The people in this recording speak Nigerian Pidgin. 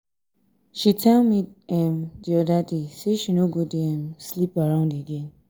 she um tell me um the other day say she no go dey um sleep around again.